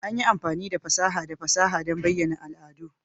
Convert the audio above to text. An yi amfani da fasaha da fasaha don bayyana al'adu.